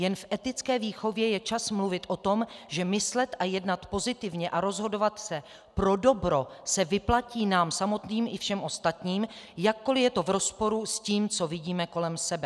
Jen v etické výchově je čas mluvit o tom, že myslet a jednat pozitivně a rozhodovat se pro dobro se vyplatí nám samotným i všem ostatním, jakkoli je to v rozporu s tím, co vidíme kolem sebe.